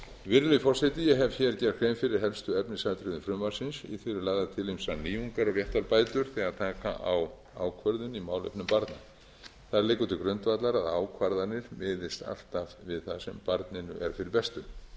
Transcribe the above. virðulegi forseti ég hef gert grein fyrir helstu efnisatriðum frumvarpsins í því eru lagðar til ýmsar nýjungar og réttarbætur þegar taka á ákvörðun í málefnum barns það liggur til grundvallar að ákvarðanir miðist alltaf við það sem barninu er fyrir bestu